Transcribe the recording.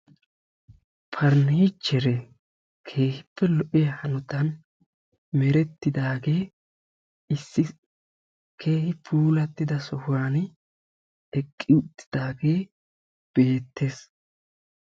Paranichere keehippe lo"iyaa hanotan merettidaage issi keehi puulatrida sohuwan eqqi uttidaage beettees.